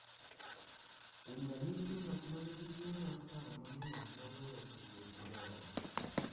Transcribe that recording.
Kuom ranyisi, ng’at ma nigi tuwo mar paro mang’eny nyalo weyo tudruok gi joode,